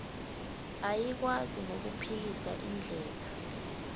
ayikwazi nokuphikisa indlela